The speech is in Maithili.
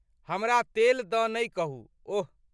हमरा तेल दऽ नै कहू, ओह।